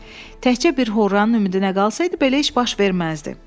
Təkcə bir horranın ümidinə qalsaydı, belə iş baş verməzdi.